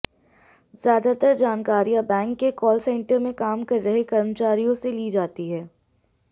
ज्यादातर जानकारिया बैंक के कॉल सेण्टर में काम कर रहे कर्मचारियों से ली जाती थी